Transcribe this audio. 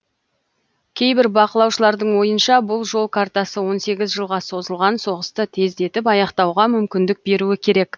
кейбір бақылаушылардың ойынша бұл жол картасы он сегіз жылға созылған соғысты тездетіп аяқтауға мүмкіндік беруі керек